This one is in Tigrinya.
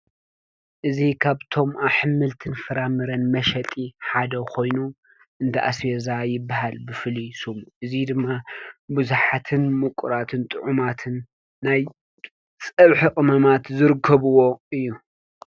እዚ ካብቶም ኣሕምልት ፍራምረን መሸጢ ሓደ ኮይኑ እንዳ ኣስቤዛ ይበሃል፡፡ ብፍሉይ ሽሙ እዙይ ድማ ብዙሓትን ምቁራትን ጥዑማትን ናይ ፀብሒ ቅመማት ዝረከብዎ እዩ፡፡